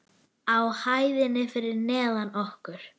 Á hæðinni fyrir neðan okkur.